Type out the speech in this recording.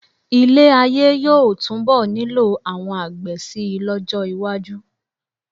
Ilé-ayé yóò túnbọ̀ nílò àwọn àgbẹ̀ síi lọ́jọ́ iwájú.